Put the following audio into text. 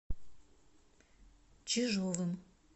чижовым